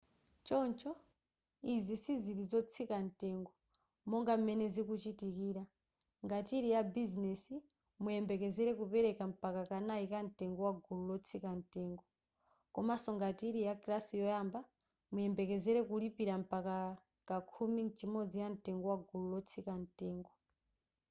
choncho izi sizili zotsika mtengo monga m'mene zikuchitikira ngati ili ya bizinezi muyembekezere kupereka mpaka kanayi ka mtengo wagulu lotsika mtengo komaso ngati ili kalasi yoyamba muyembekezere kulipira mpaka ka khumi mchimodzi ya mtengo wagulu lotsika mtengo